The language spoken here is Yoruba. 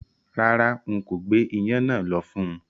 Rárá, n kò gbé iyán náà lọ fún-un